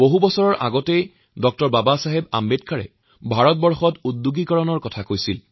বহু বছৰৰ আগতে আম্বেদকাৰে ভাৰতত উদ্যোগীকৰণৰ কথা কৈছিল